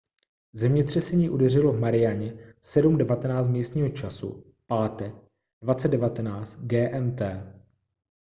zemětřesení udeřilo v marianě v 7:19 místního času pátek 20:19 gmt